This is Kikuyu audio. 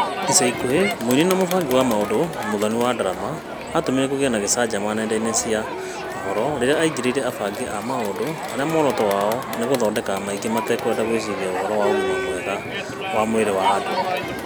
Icaikũhĩ, mũini na mũbangi wa maũndũ Mũthoni wa ndarama atũmire kũgĩe na gĩcanjama nyendainĩ cia ũhoro rĩrĩa aingĩrĩire abangi a maũndũ arĩa mworoto wao nĩ gũthondeka maingĩ matekwenda gũĩciria ũhoro wa ũgima mwega wa mwĩrĩ wa andũ.